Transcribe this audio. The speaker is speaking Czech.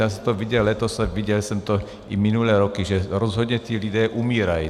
Já jsem to viděl letos a viděl jsem to i minulé roky, že rozhodně ti lidé umírají.